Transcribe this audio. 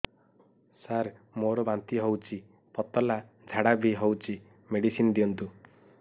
ସାର ମୋର ବାନ୍ତି ହଉଚି ପତଲା ଝାଡା ବି ହଉଚି ମେଡିସିନ ଦିଅନ୍ତୁ